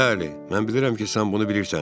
Bəli, mən bilirəm ki, sən bunu bilirsən.